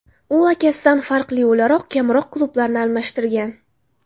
U akasidan farqli o‘laroq kamroq klublarni almashtirgan.